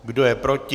Kdo je proti?